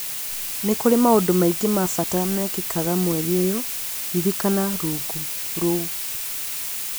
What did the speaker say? Nĩ kũrĩ maũndũ maingĩ ma bata mekĩkaga mweri-inĩ ũyũ ririkana rungu rũu